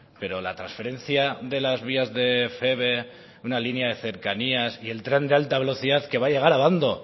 pero la transferencia de las vías de feve una línea de cercanías y el tren de alta velocidad que va a llegar a abando